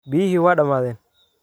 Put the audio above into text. Biyihii way dhammaadeen